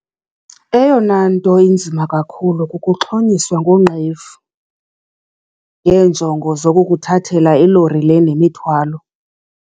Eyona nto inzima kakhulu ke kukuxhonyiswa ngoonqevu ngeenjongo zokukuthathela ilori le nemithwalo.